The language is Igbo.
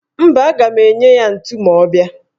Mba, aga m enye ya ntu ma ọ bịa.